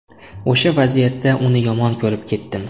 O‘sha vaziyatda uni yomon ko‘rib ketdim.